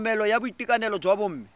tlhokomelo ya boitekanelo jwa bomme